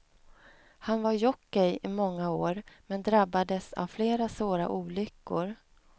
Han var jockey i många år, men drabbades av flera svåra olyckor.